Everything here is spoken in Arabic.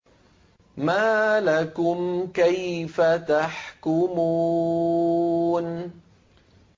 مَا لَكُمْ كَيْفَ تَحْكُمُونَ